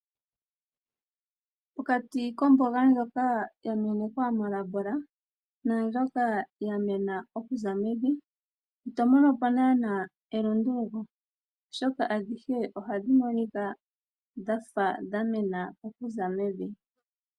Pokati komboga ndjoka yamenkwa molabola na ndjoka yamena okuza mevi ito mono po nana elunduluko oshoka adhihe ohadhi monika dhafa dhamena okuza mevi.